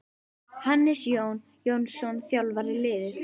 Hannes Jón Jónsson þjálfar liðið.